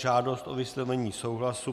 Žádost o vyslovení souhlasu